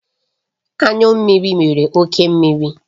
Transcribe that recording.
Anyụ mmiri nwere oke mmiri